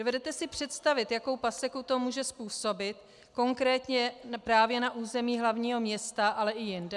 Dovedete si představit, jakou paseku to může způsobit konkrétně právě na území hlavního města, ale i jinde?